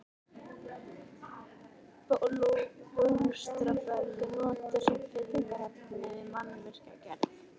Bólstraberg er notað sem fyllingarefni við mannvirkjagerð.